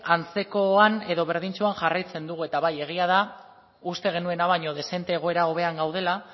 antzekoan edo berdintsuan jarraitzen dugu eta bai egia da uste genuena baino dezente egoera hobean gaudela